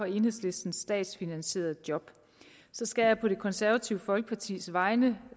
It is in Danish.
enhedslistens statsfinansierede job så skal jeg på det konservative folkepartis vegne